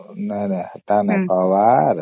ନାଇଁ ନାଇଁ ସେତ ନାଇଁ କହିବାର